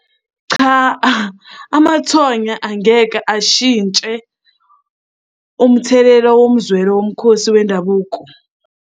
Cha, amathonya angeke ashintshe umthelela womzwelo womkhosi wendabuko.